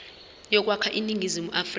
yokwakha iningizimu afrika